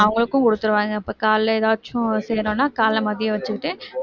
அவங்களுக்கும் கொடுத்துருவாங்க இப்ப காலையில ஏதாச்சும் செய்யணும்னா காலை மதியம் வச்சுக்கிட்டு